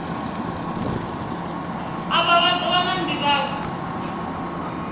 afha vha ḓo wana nḓivhadzo